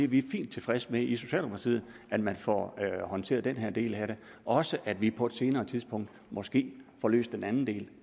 vi er fint tilfredse med i socialdemokratiet at man får håndteret den her del af det også at vi på et senere tidspunkt måske får løst den anden del